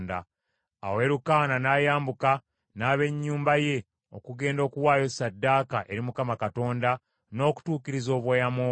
Awo Erukaana n’ayambuka n’ab’ennyumba ye okugenda okuwaayo ssaddaaka eri Mukama Katonda n’okutuukiriza obweyamo bwe.